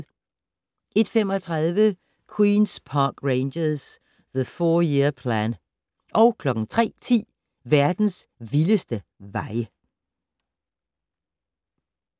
01:35: Queens Park Rangers - The Four Year Plan 03:10: Verdens vildeste veje